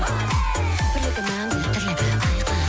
бірлігі мәңгі тірлігі айқын